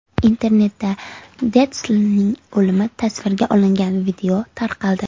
Internetda Detslning o‘limi tasvirga olingan video tarqaldi .